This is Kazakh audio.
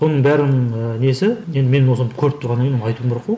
оның бәрінің ііі несі енді мен осыны көріп тұрғаннан кейін айтуым керек қой